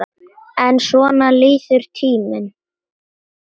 En svona líður tíminn.